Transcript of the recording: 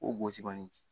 O gosi kɔni